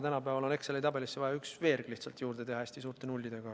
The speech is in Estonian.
Tänapäeval on Exceli tabelisse vaja lihtsalt üks veerg juurde teha, hästi suurte nullidega.